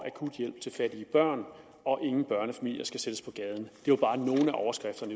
akut hjælp til fattige børn og ingen børnefamilier skal sættes på gaden det var bare nogle af overskrifterne